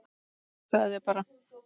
Hugsaðu þér bara